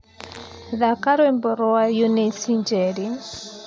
Thaka Rwĩmbo rwa eunice njeri